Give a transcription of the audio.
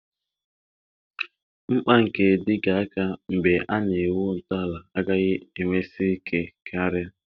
Mkpa nke Dịgga aka mgbe a na-ewu ntọala agaghị emesi ike karịa